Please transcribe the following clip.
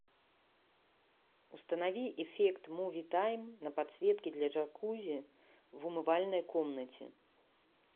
установи эффект муви тайм на подсветке для джакузи в умывальной комнате